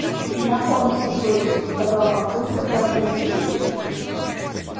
знакомься дочь сказал папулька торжественно